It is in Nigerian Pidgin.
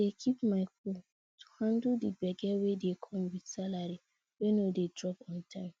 i dey keep my cool to handle the gbege wey dey come with salary wey no dey drop on time